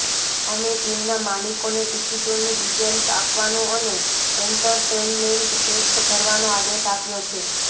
અમે ટીમના માલિકોને ટિકિટોની ડીટેલ્સ આપવાનો અને એન્ટરટેઈનમેન્ટ ટેક્સ ભરવાનો આદેશ આપ્યો છે